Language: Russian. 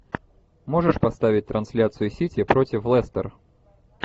можешь поставить трансляцию сити против лестер